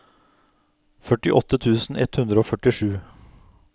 førtiåtte tusen ett hundre og førtisju